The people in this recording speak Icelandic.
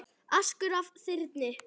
askur af þyrni